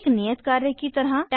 एक नियत कार्य की तरह 1